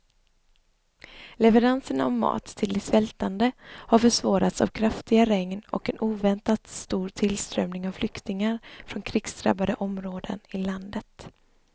Leveranserna av mat till de svältande har försvårats av kraftiga regn och en oväntat stor tillströmning av flyktingar från krigsdrabbade områden i landet.